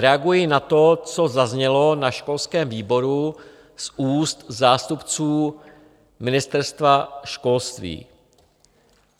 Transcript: Reaguji na to, co zaznělo na školském výboru z úst zástupců Ministerstva školství.